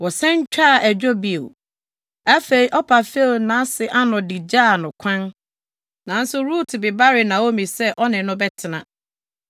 Wɔsan twaa adwo bio. Afei, Orpa few nʼase ano de gyaa no kwan, nanso Rut bebaree Naomi sɛ ɔne no bɛtena.